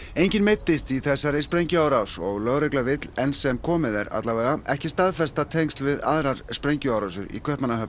enginn meiddist í þessari sprengjuárás og lögregla vill enn sem komið er allavega ekki staðfesta tengsl við aðrar sprengjuárásir í Kaupmannahöfn